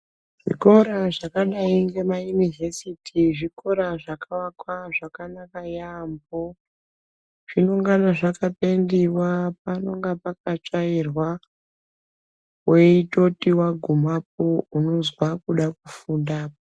Zvikora zvakadai ngema inivesity zvikora zvakavakwa zvakanaka yamhoo. Zvinonga zvaka pendiwa, panonga pakatsvairwa, weitoti wagumapo unozwa kuda kufunda.